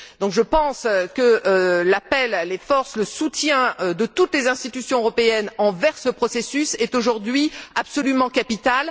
Je pense que l'appel, les forces, le soutien de toutes les institutions européennes envers ce processus est aujourd'hui absolument capital.